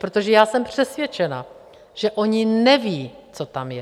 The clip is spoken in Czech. Protože já jsem přesvědčena, že oni nevědí, co tam je.